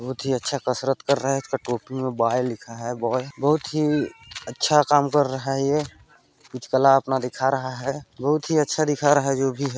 बहुत ही अच्छा कसरत कर रहा है इसका टोपी मे बॉय लिखा है बॉय बहुत ही अच्छा काम कर रहा है ये कुछ कला अपना दिखा रहा है बहुत ही अच्छा दिखा रहा है जो भी है।